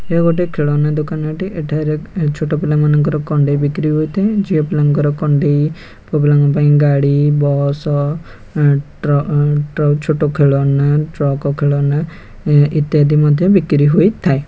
ଏ ଗୋଟେ ଖେଳନା ଦୋକାନଟେ ଏଠାରେ ଛୋଟ ପିଲାମାନଙ୍କର କଣ୍ଢେଇ ବିକ୍ରି ହୋଇଥାଏ ଝିଅ ପିଲାଙ୍କର କଣ୍ଢେଇ ପୁଆପିଲାଙ୍କ ପାଇଁ ଗାଡି ବସ ଟ୍ର ଟ୍ରକ ଛୋଟ ଖେଳଣା ଟ୍ରକ ଖେଳଣା ଇତ୍ୟାଦି ମଧ୍ୟ ବିକ୍ରି ହୋଇଥାଏ ।